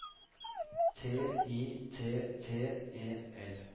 T I T T E L